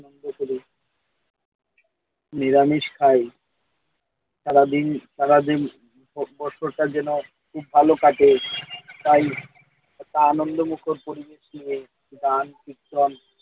আনন্দ করে নিরামিষ খায় সারাদিন সারাদিন বছরটা যেন খুব ভালো কাটে তাই একটা আনন্দমুখর পরিবেশ দিয়ে গান কীর্তন